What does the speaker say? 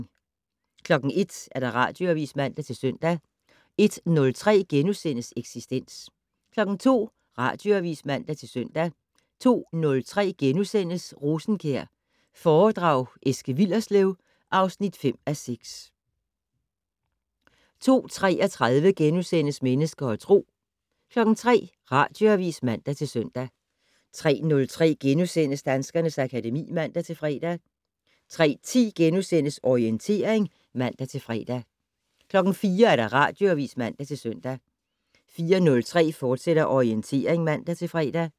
01:00: Radioavis (man-søn) 01:03: Eksistens * 02:00: Radioavis (man-søn) 02:03: Rosenkjær foredrag Eske Willerslev (5:6)* 02:33: Mennesker og Tro * 03:00: Radioavis (man-søn) 03:03: Danskernes akademi *(man-fre) 03:10: Orientering *(man-fre) 04:00: Radioavis (man-søn) 04:03: Orientering, fortsat (man-fre)